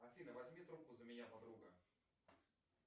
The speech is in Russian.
афина возьми трубку за меня подруга